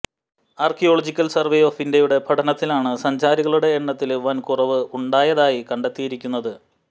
archaeological survey of ഇന്ത്യയുടെ പഠനത്തിലാണ് സഞ്ചാരികളുടെ എണ്ണത്തില് വന് കുറവ് ഉണ്ടായതായി കണ്ടെത്തിയിരിക്കുന്നത്